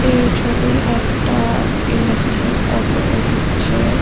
এই ছবি একটা ইলেকট্রিক অটো -এর হচ্ছে--